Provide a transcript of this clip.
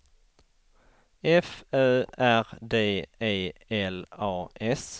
F Ö R D E L A S